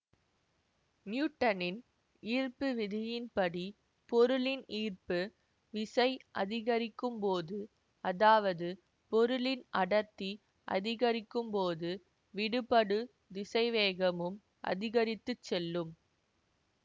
நியூட்டனின் ஈர்ப்பு விதியின்படி பொருளின் ஈர்ப்பு விசை அதிகரிக்கும்போது அதாவது பொருளின் அடர்த்தி அதிகரிக்கும்போது விடுபடு திசைவேகமும் அதிகரித்துச் செல்லும்